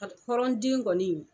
Hali hɔrɔn den kɔni